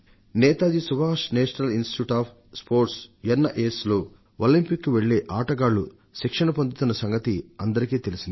Netaji Subhash National Institute of Sports NIS లో Olympics కు వెళ్లే ఆటగాళ్లు శిక్షణ పొందుతున్న సంగతి అందరికీ తెలిసిందే